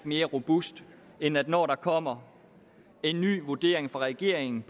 mere robust end at når der kommer en ny vurdering fra regeringens